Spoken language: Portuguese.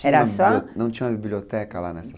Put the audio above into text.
Era só, não tinha uma biblioteca lá nessa